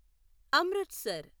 Amritsar